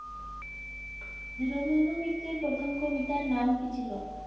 দীনবন্ধু মিত্রের প্রথম কবিতার নাম কী ছিল?